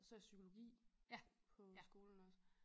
Så har jeg psykologi på hø skolen også